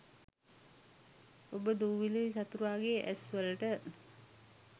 ඔබ දූවිලි සතුරාගේ ඇස් වලට